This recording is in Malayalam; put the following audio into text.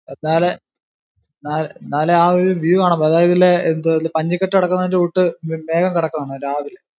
താഴെ ആ ഒരു view കാണാൻ പറ്റും അതായതില്ലേ പഞ്ഞി കേട്ട് കിടക്കുന്ന കൂട്ട് മേഘം കിടക്കും.